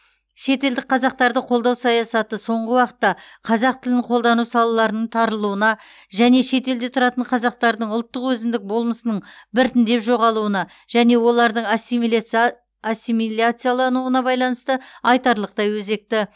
шетелдік қазақтарды қолдау саясаты соңғы уақытта қазақ тілін қолдану салаларының тарылуына және шетелде тұратын қазақтардың ұлттық өзіндік болмысының біртіндеп жоғалуына және олардың асимиляца ассимиляциялануына байланысты айтарлықтай өзекті